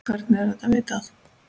Hvernig er þetta vitað?